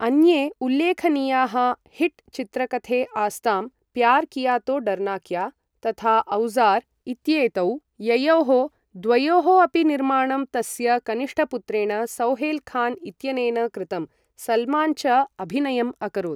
अन्ये उल्लेखनीयाः हिट् चित्रकथे आस्तां प्यार् किया तो डरना क्या, तथा औज़ार् इत्येतौ, ययोः द्वयोः अपि निर्माणं तस्य कनिष्ठपुत्रेण सोहैल् खान् इत्यनेन कृतम्, सल्मान् च अभिनयम् अकरोत्।